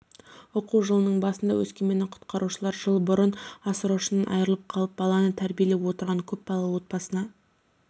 оқу жылының басында өскеменнің құтқарушылары жыл бұрын асыраушысынан айырылып қалып баланы тәрбиелеп отырған көп балалы отбасына